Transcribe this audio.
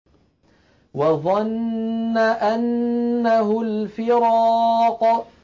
وَظَنَّ أَنَّهُ الْفِرَاقُ